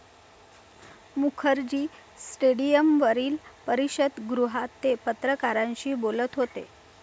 मुखर्जी स्टेडियमवरील परिषदगृहात ते पत्रकारांशी बोलत होते.